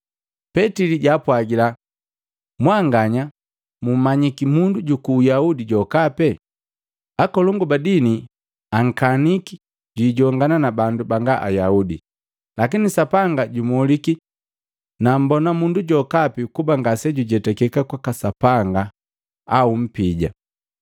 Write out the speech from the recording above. Petili jaapwagila, “Mwanganya mmanyiki mundu juku Uyahudi jokapi, akolongu badini akaniki jwijongana na bandu banga Ayaudi. Lakini Sapanga jumoliki nammbona mundu jokapi kuba ngasejujetakeka kwaka Sapanga au mpija.